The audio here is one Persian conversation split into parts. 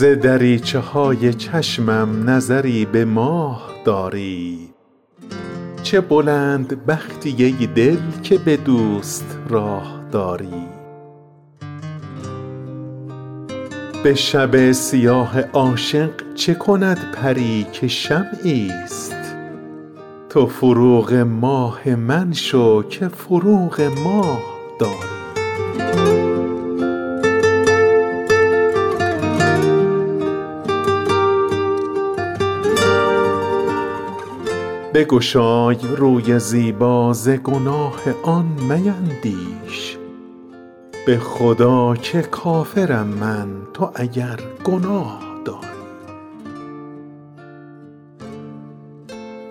ز دریچه های چشمم نظری به ماه داری چه بلند بختی ای دل که به دوست راه داری به شب سیاه عاشق چه کند پری که شمعی است تو فروغ ماه من شو که فروغ ماه داری بگشای روی زیبا ز گناه آن میندیش به خدا که کافرم من تو اگر گناه داری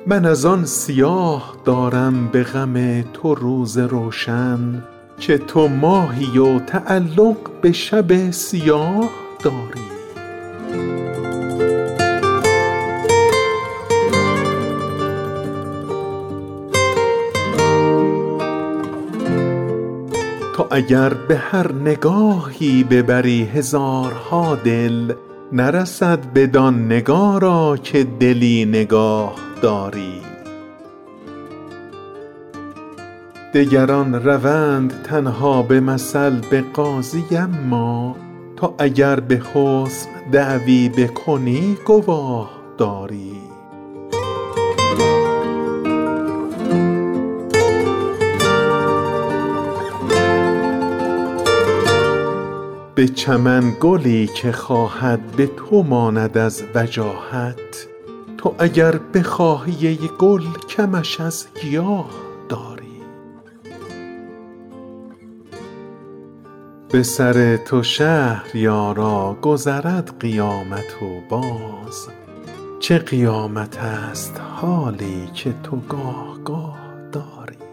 من از آن سیاه دارم به غم تو روز روشن که تو ماهی و تعلق به شب سیاه داری تو اگر به هر نگاهی ببری هزارها دل نرسد بدان نگارا که دلی نگاهداری نفس علیل پیران تب لازم آورد هان تو چه لازم این جوانی به تبی تباه داری تو که چون منیژه گیسو بودت کمند رستم ز چه ماه من چو بیژن خود اسیر چاه داری تو به هر گدا میامیز و شکوه حسن مشکن که لیاقت تشرف به حضور شاه داری برو و به دلبری کو ملکه است در وجاهت بگذر که ماه رویش به محاق آه داری دگران روند تنها به مثل به قاضی اما تو اگر به حسن دعوی بکنی گواه داری به چمن گلی که خواهد به تو ماند از وجاهت تو اگر بخواهی ای گل کمش از گیاه داری دگران به نرد عشقت به هوای بوسه تازند تو چرا هوای بازی سر دل بخواه داری به سر تو شهریارا گذرد قیامت و باز چه قیامتست حالی که تو گاه گاه داری